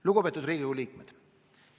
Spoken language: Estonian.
Lugupeetud Riigikogu liikmed!